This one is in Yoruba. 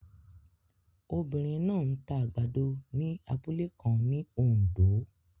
Obinrin naa n ta agbado ni abule kan ni Ondo